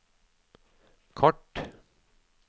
kort